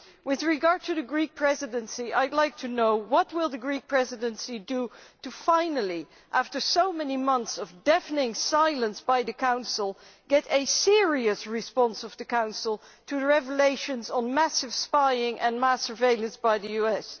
With regard to the Greek Presidency, I would like to know what the Greek Presidency will do finally, after so many months of deafening silence from the Council, to get a serious response from the Council to the revelations of massive spying and mass surveillance by the US.